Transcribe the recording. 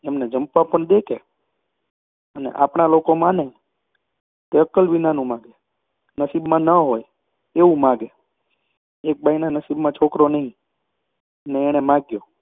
માનીને એમને જંપવા પણ દે કે! અને આપણા લોકો માગે, તે અક્કલ વિનાનું માગે, નસીબમાં ન હોય એવું માગે. એક બાઈના નસીબમાં છોકરો નહિ ને માગ્યો